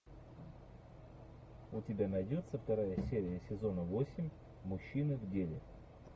у тебя найдется вторая серия сезона восемь мужчина в деле